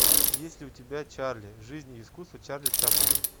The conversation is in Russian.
есть ли у тебя чарли жизнь и искусство чарли чаплина